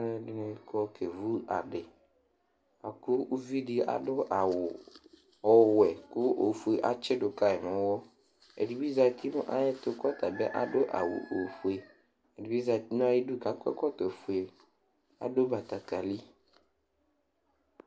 Alʋɛsini kɔ kevʋ adi ɔwʋe kʋ ofue atsidʋ kayi nʋ ʋwɔ ɛdibi zati nʋ ayʋ ɛtʋ kʋ ɔtabi adʋ awʋ ofue ɛdibi zati nʋ ayʋ idʋ kʋ akɔ ɛkɔtɔfue adʋ batakali